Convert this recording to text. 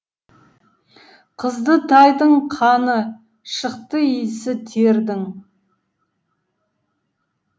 қызды тайдың қаны шықты иісі тердің